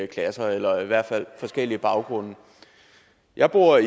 klasser eller i hvert fald forskellige baggrunde jeg bor